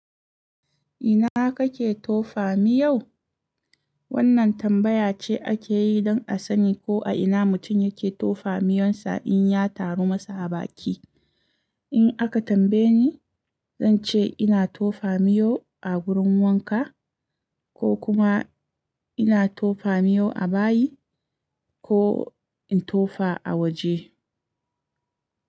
“Ina kake tofa miyau?” Wannan tambaya ce ake yi don a sani ko a ina mutum yake tofa miyonsa in ya taru masa a baki. In aka tambaye ni, zan ce ina tofa miyau a wurin wanka, ko kuma ina tofa miyau a bayi, ko in tofa a waje.